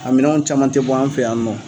A minanw caman tɛ bɔ an fɛ yan nɔ.